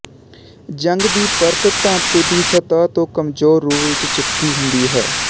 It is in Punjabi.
ਜ਼ੰਗ ਦੀ ਪਰਤ ਧਾਤੂ ਦੀ ਸਤਹ ਤੋਂ ਕਮਜ਼ੋਰ ਰੂਪ ਵਿੱਚ ਚਿਪਕੀ ਹੁੰਦੀ ਹੈ